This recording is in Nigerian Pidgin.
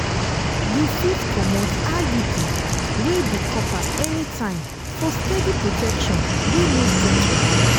you fit comot iud wey be copper anytime for steady protection wey no get wahala.